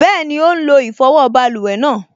Bẹ́ẹ̀ni, ó n lo ìfọwọ́ báluwẹ̀ náà